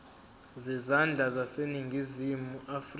zezandla zaseningizimu afrika